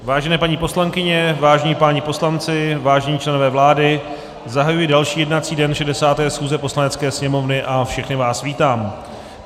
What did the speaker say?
Vážené paní poslankyně, vážení páni poslanci, vážení členové vlády, zahajuji další jednací den 60. schůze Poslanecké sněmovny a všechny vás vítám.